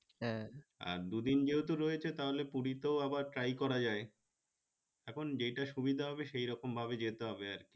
আর দু দিন যেহেতু রয়েছে তাহলে পুরিতে ও আবার try করা যায় এখন যেটা সুবিদা হবে সেরকম ভাবে যেতে হবে আরকি